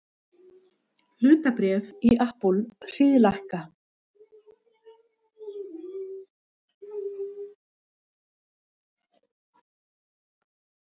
Hlutabréf í Apple hríðlækka